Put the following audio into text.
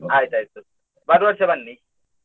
ಆಯ್ತಾಯ್ತು ಬರು ವರ್ಷ ಬನ್ನಿ.